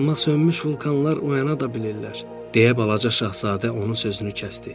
Amma sönmüş vulkanlar oyana da bilirlər, deyə balaca Şahzadə onun sözünü kəsdi.